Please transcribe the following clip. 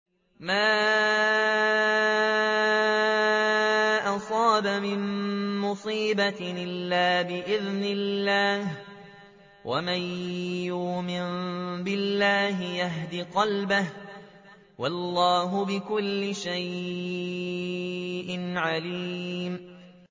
مَا أَصَابَ مِن مُّصِيبَةٍ إِلَّا بِإِذْنِ اللَّهِ ۗ وَمَن يُؤْمِن بِاللَّهِ يَهْدِ قَلْبَهُ ۚ وَاللَّهُ بِكُلِّ شَيْءٍ عَلِيمٌ